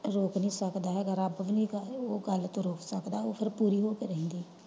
ਰੋਕ ਨੀ ਸਕਦਾ ਹੈਗਾ ਉਹ ਫੇਰ ਰੱਬ ਵੀ ਉਸ ਚੀਜ ਤੋਂ ਨਹੀਂ ਰੋਕ ਸਕਦਾ ਉਹ ਫੇਰ ਪੂਰੀ ਹੋ ਕੇ ਰਹਿੰਦੀ ਆ।